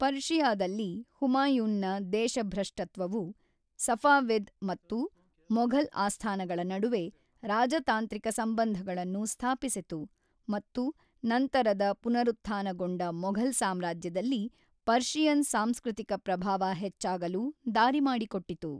ಪರ್ಷಿಯಾದಲ್ಲಿ ಹುಮಾಯೂನ್‌ನ ದೇಶಭ್ರಷ್ಟತ್ವವು ಸಫಾವಿದ್ ಮತ್ತು ಮೊಘಲ್ ಆಸ್ಥಾನಗಳ ನಡುವೆ ರಾಜತಾಂತ್ರಿಕ ಸಂಬಂಧಗಳನ್ನು ಸ್ಥಾಪಿಸಿತು, ಮತ್ತು ನಂತರದ ಪುನರುತ್ಥಾನಗೊಂಡ ಮೊಘಲ್ ಸಾಮ್ರಾಜ್ಯದಲ್ಲಿ ಪರ್ಷಿಯನ್ ಸಾಂಸ್ಕೃತಿಕ ಪ್ರಭಾವ ಹೆಚ್ಚಾಗಲು ದಾರಿಮಾಡಿಕೊಟ್ಟಿತು.